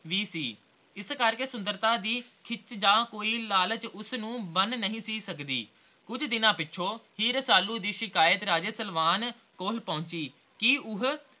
ਵੀ ਸੀ ਇਸ ਕਰਕੇ ਸੁੰਦਰਤਾ ਦੀ ਖਿੱਚ ਜਾਂ ਕੋਈ ਲਾਲਚ ਉਸਨੂੰ ਬੰਨ ਨਹੀਂ ਸੀ ਸਕਦੀ ਕੁਝ ਦਿਨਾਂ ਪਿੱਛੋਂ ਹੀ ਰਸਾਲੂ ਦੀ ਸ਼ਿਕਾਇਤ ਰਾਜੇ ਸਲਵਾਨ ਕੋਲ ਪਹੁਚੀ ਕੇ ਉਹ